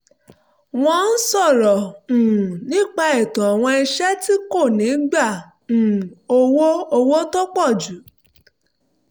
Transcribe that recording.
wọ́n ń sọ̀rọ̀ um nípa ètò àwọn iṣẹ́ tí kò ní gba um owó owó tó pọ̀ jù